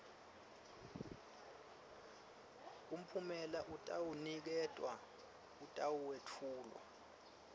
mphumela atawuniketwa atawetfulwa